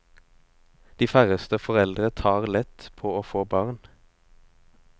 De færreste foreldre tar lett på å få barn.